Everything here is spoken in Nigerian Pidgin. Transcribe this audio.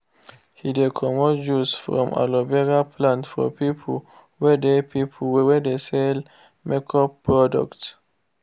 he de comot juice from aloe vera plant for people wey dey people wey dey sell make up products.